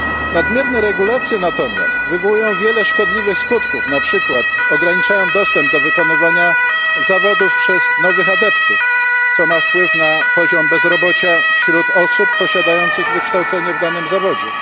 Nadmierne regulacje natomiast wywołują wiele szkodliwych skutków na przykład ograniczają dostęp do wykonywania zawodów przez nowych adeptów, co ma wpływ na poziom bezrobocia wśród osób posiadających wykształcenie w danym zawodzie.